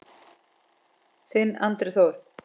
Þinn Andri Þór.